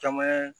Caman ye